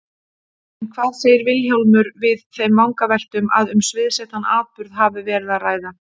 En hvað segir Vilhjálmur við þeim vangaveltum að um sviðsettan atburð hafi verið að ræða?